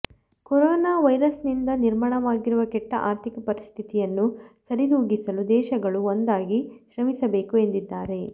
corona ವೈರಸ್ನಿಂದ ನಿರ್ಮಾಣವಾಗಿರುವ ಕೆಟ್ಟ ಆರ್ಥಿಕ ಪರಿಸ್ಥಿತಿಯನ್ನು ಸರಿದೂಗಿಸಲು ದೇಶಗಳು ಒಂದಾಗಿ ಶ್ರಮಿಸಬೇಕು ಎಂದಿದ್ದಾರೆ